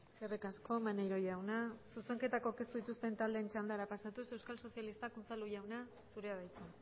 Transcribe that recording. eskerrik asko maneiro jauna zuzenketak aurkeztu dituzten taldeen txandara pasatuz euskal sozialistak unzalu jauna zurea da hitza